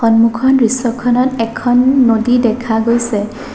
সন্মুখৰ দৃশ্যখনত এখন নদী দেখা গৈছে।